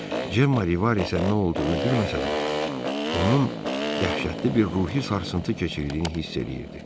Cem Rivasə nə olduğunu bilməsə də, onun dəhşətli bir ruhi sarsıntı keçirdiyini hiss eləyirdi.